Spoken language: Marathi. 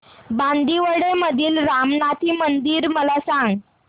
बांदिवडे मधील रामनाथी मंदिर मला सांग